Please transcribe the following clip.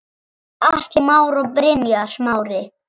Atli Már og Brynjar Smári.